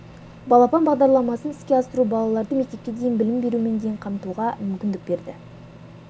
балапан бағдарламасын іске асыру балаларды мектепке дейінгі білім берумен дейін қамтуға мүмкіндік берді